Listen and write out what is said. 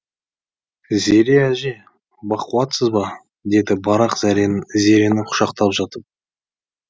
зере әже бақуатсыз ба деді барақ зерені құшақтап жатып